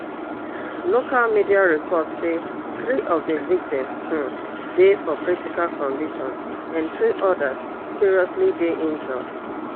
local media reports say three of di victims um dey for critical condition and three odas seriously dey injured